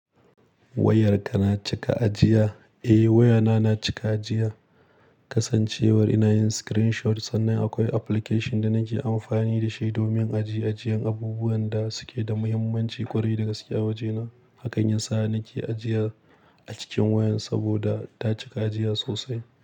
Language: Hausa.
Wayarka na cika ajiya? Eh wayana na cika ajiya. Kasancewar ina yin screenshot sannan akwai application da nake amfani da shi domin ajiye ajiyan abubuwan da suke da mahimmanci ƙwarai da gaske a wajena. Hak an yin sa nake ajiya a cikin wayan saboda ta cika ajiya sosai.